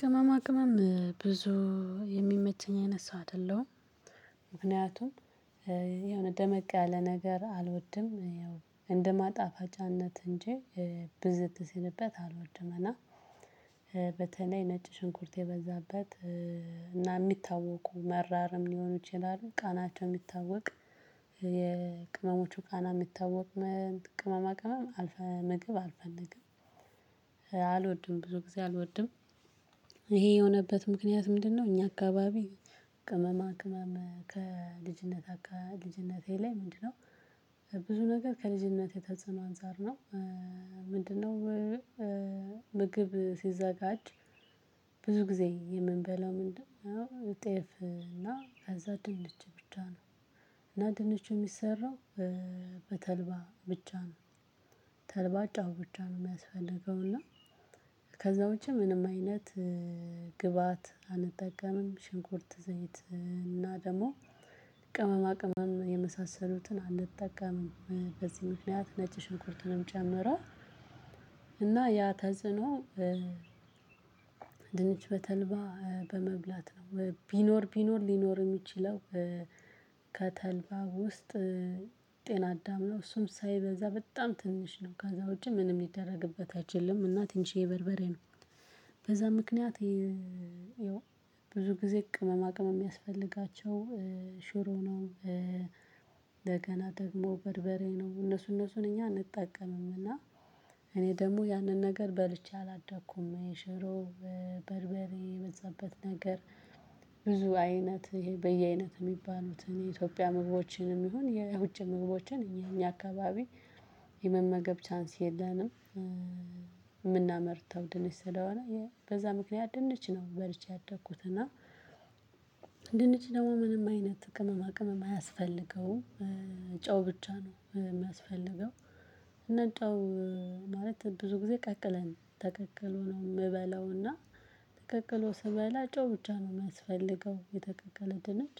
ቅመማ ቅመም ብዙ የሚመቸኝ አይነት ሰው አደለሁም። ምክንያቱም የሆነ ደመቅ ያለ ነገር አልወድም ያው እንደማጣፋጫነት እንጂ ብዝት ሲልበት አልወድም። እና በተለይ ነጭ ሽንኩርት የበዛበት እና ሚታወቁ መራርም ሊሆኑ ይችላሉ። ቃናቸው ሚታወቅ የቅመሞቹ ቃና ሚታወቅ ቅመማ ቅመም አልፈልገም። አልወድም ብዙ ግዜ አልወድም እሄ የሆነበት ምክንያት ምንድነው? እኛ አካባቢ ቅመማ ቅመም ከልጅነት አካል ልጅነቴ ላይ ምንድነው ብዙ ነገር ከልጅነቴ ተጸነው አንፃር ነው። ምንድነው? ምግብ ሲዘጋጅ ብዙ ግዜ የምንበላው ምንድነው ጤፍ እና ከዛ ድንች ብቻ ነው። እና ድንቹ ሚሰራው በተልባ ብቻ ነው። ተልባ ጨው ብቻ ነው ሚያስፈልገው እና ከዛ ውጭ ምንም አይነት ግብአት አንጠቀምም ሽንኩርት ዘይት እና ደሞ ቅመማ የመሳሰሉትን አንጠቀምም። በዚህ ምክንያት ነጭ ሽንኩርትንም ጨምራል እና ያ ተጽኖ። ድንች በተልባ በመብላት ነው ቢኖር ቢኖር ሊኖር ሚችለው። ከተልባ ውስጥ ጤናዳም ነው እሱም ሳይበዛ በጣም ትንሽ ነው። ከዛ ውጪ ምንም ሚደረግበት አይችልም እና ትንሽዬ በርበሬ ነው። በዛ ምክንያት ያው ብዙ ግዜ ቅመማ ቅመም ሚያስፈልጋቸው ሽሮ ነው እንደገና ደግሞ በርበሬ ነው እነሱ እነሱን እኛ አንጠቀምምና። እኔ ደሞ ያነን ነገር በልቼ አላደኩም። የሽሮ በርበሬ የበዛበት ነገር ብዙ አይነት በየአይነት ሚባሉትን የኢትዮጵያ ምግቦችንም ይሁን የውጭ ምግቦችን የኛ አካባቢ የመመገብ ቻንስ የለንም። ምናመርተው ድንች ስለሆነ በዛ ምክንያት ድንች ነው በልቼ ያደኩት እና። ድንች ደሞ ምንም አይነት ቅመማ ቅመም አያስፈልገውም። ጨው ብቻ ነው ሚያስፈልገው። እና ጨው ማለት ብዙ ግዜ ቀቅለን ተቀቅሎ ነው ምበላውና ተቀቅሎ ስበላ ጨው ብቻ ነው ሚያስፈልገው የተቀቀለ ድንች።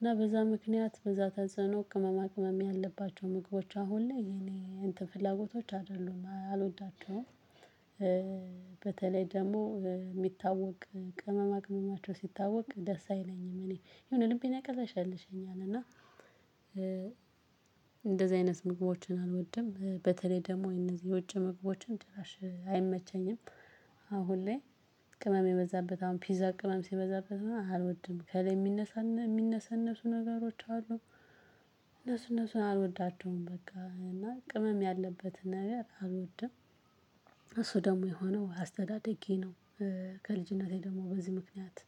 እና በዛ ምክንያት በዛ ተጽኖ ቅመማ ቅመም ያለባቸው ምግቦች አሁን ላይ የኔ እንትን ፍላጎቶች አደሉም አልወዳቸውም። በተለይ ደሞ ሚታወቅ ቅመማ ቅመማቸው ሲታወቅ ደስ አይለኝም እኔ የሆነ ልቤን ያቅለሸልሸኛል። እና እንደዚህ አይነት ምግቦችን አልወድም በተለይ ደሞ እነዚህ የውጭ ምግቦችን ጭራሽ አይመቸኝም። አሁን ላይ ቅመም የበዛበት አሁን ፒዛ ቅመም ሲበዛበት አልወድም ከላይ ሚነሰነሱ ነገሮች አሉ። እነሱ እነሱን አልወዳቸውም። በቃ እና ቅመም ያለበትን ነገር አልወድም። እሱ ደሞ የሆነው አስተዳደጌ ነው። ከልጅነቴ ደሞ በዚህ ምክንያት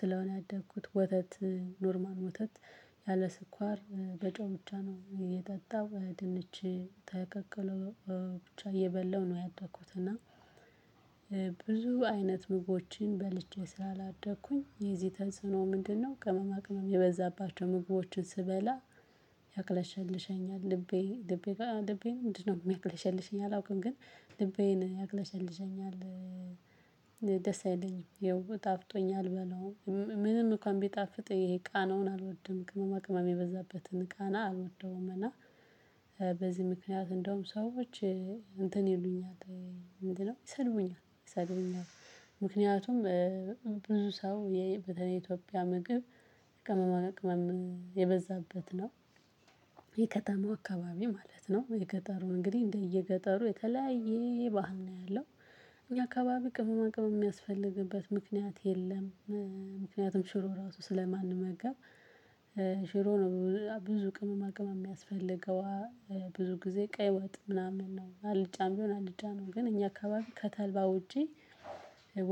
ስለሆነ ያደግኩት ወተት ኖርማል ወተት ያለ ስኳር በጨው ብቻ ነው እየጠጣው ድንች ተቀቅሎ ብቻ እየበላው ነው ያደኩት እና። ብዙ አይነት ምግቦችን በልቼ ስላላደኩኝ የዚህ ተጽኖ ምንድነው? ቅመማ ቅመም የበዛባቸው ምግቦችን ስበላ ያቅለሸልሸኛል። ልቤ ልቤ ልቤ ምንድነው ሚያቅለሸልሸኝ አላውቅም። ግን ልቤን ያቅለሸልሸኛል። ደስ አይለኝም ያው ጣፍጦኞ አልበላው ምንም እንኳን ቢጣፍጥ እሄ ቃናውን አልወድም ቅመማ ቅመም የበዛበትን ቃና አልወደውም። እና በዚህ ምክንያት እንዳውም ሰዎች እንትን ይሉኛል። ይሰድቡኛል ይሰድቡኛል። ምክንያቱም ብዙ ሰው ቀተለይ የኢትዮጵያ ምግብ ቅመማ ቅመም የበዛበት ነው። የከተማው አካባቢ ማለት ነው የገጠሩን እንግዲህ እንደየገጠሩ የተለያየ ባህል ነው ያለው። እኛ አካባቢ ቅመማ ቅመም ሚያስፈልግበት ምክንያት የለም። ምክንያቱም ሽሮ ራሱ ስለማንመገብ። ሽሮ ነው ብዙ ቅመማ ቅመም ሚያስፈልገዋ ብዙ ግዜ ቀይ ወጥ ምናምን ነው አልጫም ቢሆን አልጫ ነው ግን እኛ አካባቢ ከተልባ ውጪ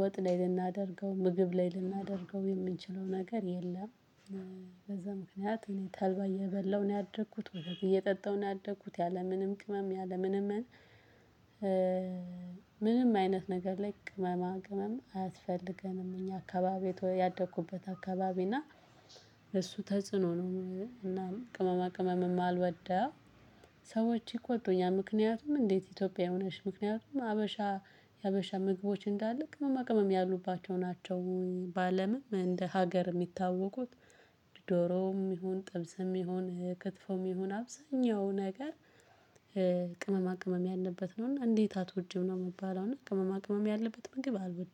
ወጥ ላይ ልናደርገው ምግብ ላይ ልናደርገው የምንችለው ነገር የለም። በዛ ምክንያት እኔ ተልባ እየበላሁ ነው ያደኩት ወተት እየጠጣሁ ነው ያደኩት ያለምንም ቅመም ያለምንም። ምንም አይነት ነገር ላይ ቅመማ ቅመም አያስፈልገንም። እኛ አካባቢ ያደኩበት አካባቢ እና እሱ ተጽዕኖ ነው እና ቅመማ ቅመም ማልወዳው። ሰዎች ይቆጡኛል ምክንያቱም እንዴት? ኢትዮጵያዊ ሆነሽ ምክንያቱም ሀበሻ የሀበሻ ምግቦች እንዳለ ቅመማ ቅመም ያሉባቸው ናቸው። በአለምም እንደ ሀገር ሚታወቁት። ዶሮም ይሁን ጥብስም ይሁን ክትፎም ይሁን አብዛኛው ነገር ቅመማ ቅመም ያለበት ነው። እና እንዴት አትወጂም ነው ምባለው እና ቅመማ ቅመም ያለበት ምግብ አልወድም